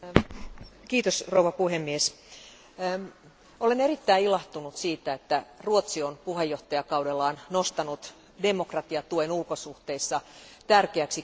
Arvoisa puhemies, olen erittäin ilahtunut siitä, että Ruotsi on puheenjohtajakaudellaan nostanut demokratiatuen ulkosuhteissa tärkeäksi kysymykseksi.